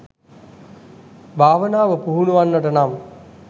භාවනාව, පුහුණුවෙන්නට නම්,